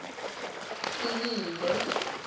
sililo